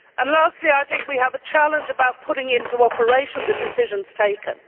Lastly, I think we have a challenge about putting into operation the decisions taken.